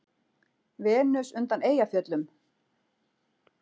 Venus undan Eyjafjöllum?